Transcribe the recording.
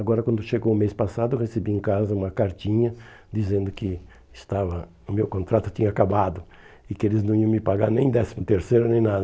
Agora, quando chegou o mês passado, eu recebi em casa uma cartinha dizendo que estava o meu contrato tinha acabado e que eles não iam me pagar nem décimo terceiro, nem nada.